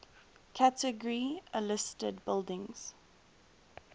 category a listed buildings